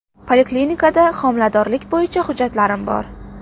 Poliklinikada homiladorlik bo‘yicha hujjatlarim bor.